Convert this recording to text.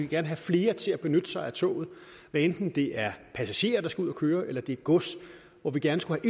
gerne have flere til at benytte sig af toget hvad enten det er passagerer der skal ud at køre eller det er gods hvor vi gerne skulle